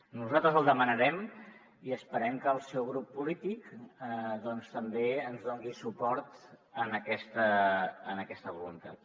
no·saltres el demanarem i esperem que el seu grup polític també ens doni suport en aquesta voluntat